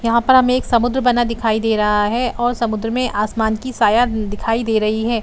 यहाँ पर हमे एक समुद्र बना दिखाई दे रहा है और समुद्र में आसमान की साया दिखाई दे रही है।